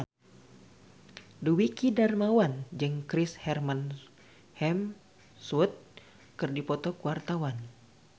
Dwiki Darmawan jeung Chris Hemsworth keur dipoto ku wartawan